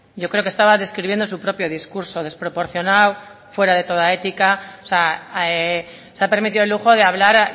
yo creo que estaba describiendo su propio discurso desproporcionado fuera de toda ética o sea se ha permitido el lujo de hablar